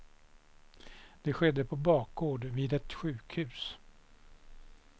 Det skedde på bakgård vid ett sjukhus.